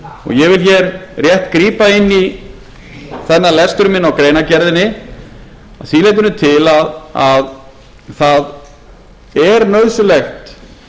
ég vil hér rétt grípa inn í þennan lestur minn á greinargerðinni að því leytinu til að það er nauðsynlegt